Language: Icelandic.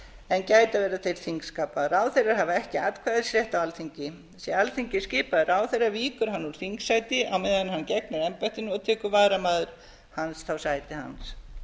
en gæta verða þeir þingskapa ráðherrar hafa ekki atkvæðisrétt á alþingi sé alþingismaður skipaður ráðherra víkur hann úr þingsæti á meðan hann gegnir embættinu og tekur varamaður þá sæti hans